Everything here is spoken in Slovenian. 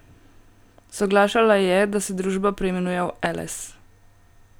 Soglašala je, da se družba preimenuje v Eles.